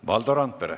Valdo Randpere.